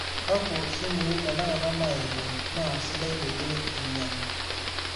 kaku simui tenakata nayetuo naa sidai peyie ainyangu